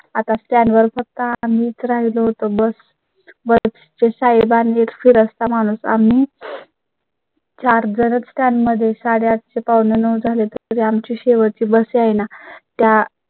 आता stand वर फक्त आम्हीच राहिलो होतो bus चे ते साहेब नी फिरस्ता माणूस आम्ही. charger त्यांमध्ये साडेआठ ते. आठ झाले तर त्यांची शेवटची बस येईना